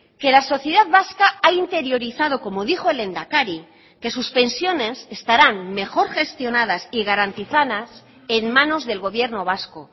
que la sociedad vasca ha interiorizado como dijo el lehendakari que sus pensiones estarán mejor gestionadas y garantizadas en manos del gobierno vasco